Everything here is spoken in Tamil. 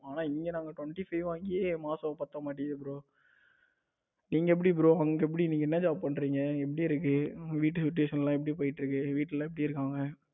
ஆனா இங்க நாங்க Twenty five வாங்கியே மாசம் பத்த மாட்டேங்குது bro நீங்க எப்படி bro அங்க எப்படி நீங்க என்ன job பண்றீங்க அங்க எப்படி இருக்கு உங்க வீட்டு situation எல்லாம் எப்படி போயிட்டு இருக்கு. வீட்ல எல்லாம் எப்படி இருக்காங்க?